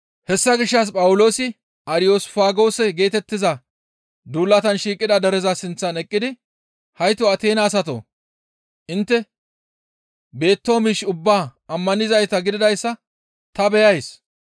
Hessa gishshas Phawuloosi Ariyosfaagoose geetettiza duulatan shiiqida dereza sinththan eqqidi, «Hayto Ateena asatoo! Intte beettoo miish ubbaa ammanizayta gididayssa ta beyays.